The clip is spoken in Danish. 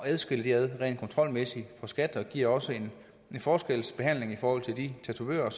adskille rent kontrolmæssigt for skat og det giver også en forskelsbehandling for de tatovører